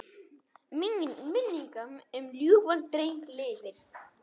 Minning um ljúfan dreng lifir.